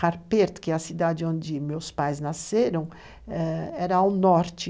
Harpert, que é a cidade onde meus pais nasceram, era ao norte.